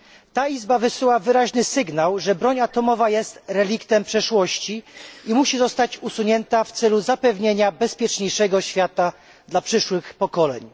Ta izba wysyła wyraźny sygnał, że broń atomowa jest reliktem przeszłości i musi zostać usunięta w celu zapewnienia bezpieczniejszego świata dla przyszłych pokoleń.